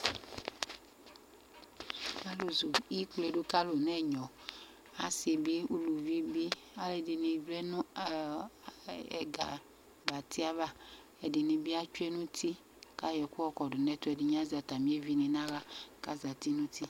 Alʋzu ɩkplɛ dʋ kʋ alʋ nʋ ɛnyɔasibi ʋlʋvibi alʋɛdini vlɛnʋ aga abati ava ɛdini bi atsue nʋ utii kʋ ayɔ ɛkʋ yɔkɔdʋ nʋ ɛtʋ ɛdini azɛ atami evini nʋ aɣla kʋ azeti nʋ utu